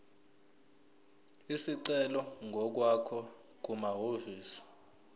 isicelo ngokwakho kumahhovisi